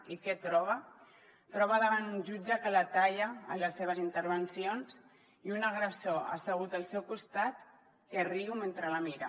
i què troba troba davant un jutge que la talla en les seves intervencions i un agressor assegut al seu costat que riu mentre la mira